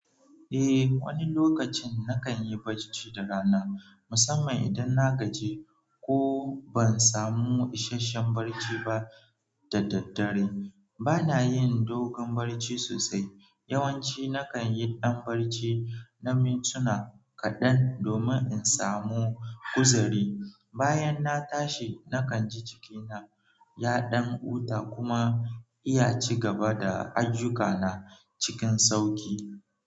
Eh, wani lokacin na kanyi barci da rana, musamman idanna gaji, ko ban samu isasshen barci ba da daddare. Bana yin dogon barci sosai. Yawanci nakanyi ɗan barci na mintuna kaɗan domin in samu kuzari. Bayanna tashi, na kanji jikina ya ɗan huta kuma iya cigaba da ayyukana cikin sauƙi.